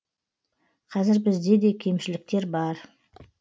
қазір бізде де кемшіліктер бар